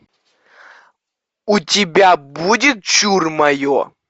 у тебя будет чур мое